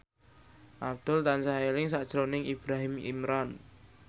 Abdul tansah eling sakjroning Ibrahim Imran